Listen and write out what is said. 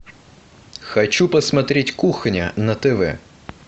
хочу посмотреть кухня на тв